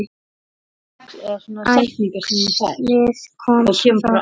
Æxlið kom svo hratt.